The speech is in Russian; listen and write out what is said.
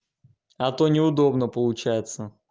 а то неудобно получается